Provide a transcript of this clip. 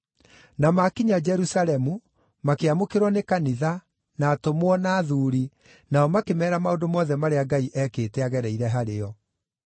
Na maakinya Jerusalemu, makĩamũkĩrwo nĩ kanitha, na atũmwo, na athuuri, nao makĩmeera maũndũ mothe marĩa Ngai eekĩte agereire harĩo.